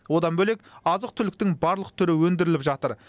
одан бөлек азық түліктің барлық түрі өндіріліп жатыр